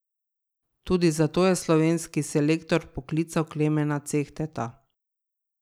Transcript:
Tudi zato je slovenski selektor vpoklical Klemena Cehteta.